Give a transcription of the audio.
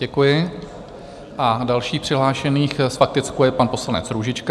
Děkuji a další přihlášený s faktickou je pan poslanec Růžička.